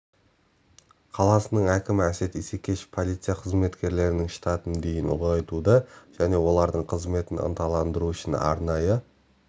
қаласының әкімі әсет исекешев полиция қызметкерлерінің штатын дейін ұлғайтуды және олардың қызметін ынталандыру үшін арнайы